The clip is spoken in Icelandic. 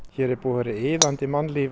hér er búið að vera iðandi mannlíf